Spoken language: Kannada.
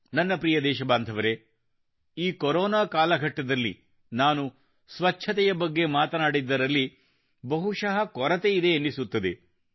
ನನ್ನ ಪ್ರಿಯ ದೇಶಬಾಂಧವರೆ ಈ ಕೊರೊನಾ ಕಾಲಘಟ್ಟದಲ್ಲಿ ನಾನು ಸ್ವಚ್ಛತೆಯ ಬಗ್ಗೆ ಮಾತನಾಡಿದ್ದರಲ್ಲಿ ಬಹುಶಃ ಕೊರತೆಯಿದೆ ಎನ್ನಿಸುತ್ತದೆ